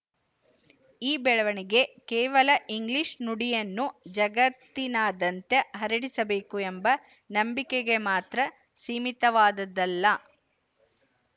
ಈ ಬೆಳವಣಿಗೆ ಕೇವಲ ಇಂಗ್ಲಿಶು ನುಡಿಯನ್ನು ಜಗತ್ತಿನಾದ್ಯಂತ ಹರಡಿಸಬೇಕು ಎಂಬ ನಂಬಿಕೆಗೆ ಮಾತ್ರ ಸೀಮಿತವಾದದ್ದಲ್ಲ